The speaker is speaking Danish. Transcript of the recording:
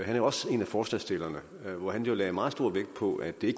er jo også en af forslagsstillerne og han lagde meget stor vægt på at det